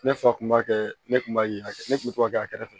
Ne fa kun b'a kɛ ne kun b'a ye a ne kun bɛ to ka kɛ a kɛrɛfɛ